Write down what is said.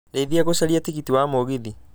ndeithia gũcaria tigiti wa mũgithi